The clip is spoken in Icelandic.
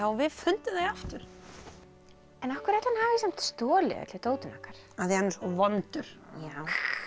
við fundum þau aftur en af hverju ætli hann hafi samt stolið öllu dótinu okkar af því hann er svo vondur já